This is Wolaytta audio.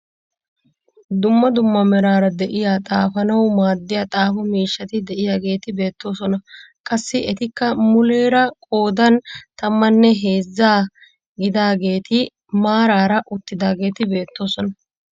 Dumma dumma meraara de'iyaa xaafanawu maaddiyaa xaafo miishshati de'iyaageti beettoosona. qassi etikka muleera qoodan tammanne heezza gidaageti maarara uttidaageti beettoosona.